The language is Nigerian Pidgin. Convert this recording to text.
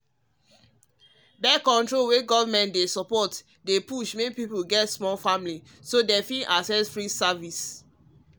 birth-control wey government dey support um dey um push make people get small family so them fit access free service actually